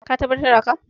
ka tabbatar da haka?